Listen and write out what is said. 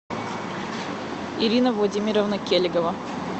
ирина владимировна келегова